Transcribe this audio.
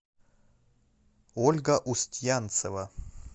ольга устьянцева